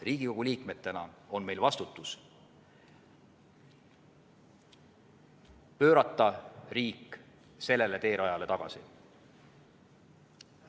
Riigikogu liikmetena on meil vastutus pöörata riik sellele teerajale tagasi.